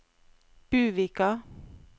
Buvika